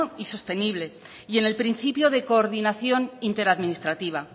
y sostenible y en el principio de coordinación interadministrativa